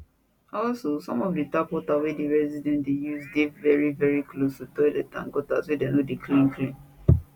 also some of di tap water wey di residents dey use dey veri close to toilets and gutters wey dem no clean clean